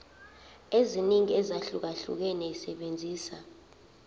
eziningi ezahlukahlukene esebenzisa